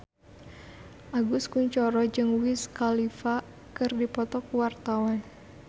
Agus Kuncoro jeung Wiz Khalifa keur dipoto ku wartawan